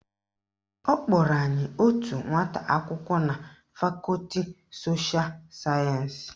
Ọ kpọrọ anyị otu nwata akwụkwọ na fakọti sosha sayensị